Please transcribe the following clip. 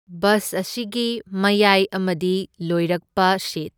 Bus ꯑꯁꯤꯒꯤ ꯃꯌꯥꯏ ꯑꯃꯗꯤ ꯂꯣꯏꯔꯛꯄ ꯁꯤꯠ꯫